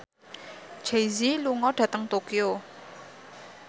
Jay Z lunga dhateng Tokyo